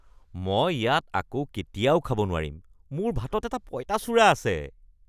মই ইয়াত আকৌ কেতিয়াও একো খাব নোৱাৰিম, মোৰ ভাতত এটা পঁইতাচোৰা আছে।